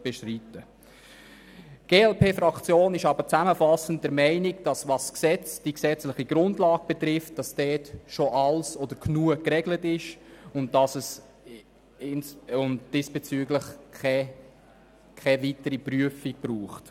Die glp-Fraktion ist aber zusammenfassend der Meinung, dass die Frage betreffend die gesetzlichen Grundlagen schon genug geregelt ist und es diesbezüglich keine weitere Prüfung braucht.